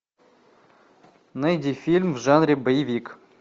найди фильм в жанре боевик